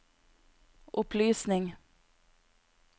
opplysning